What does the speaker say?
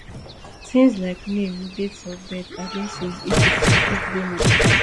tins like name dates of birth addresses etc fit dey modified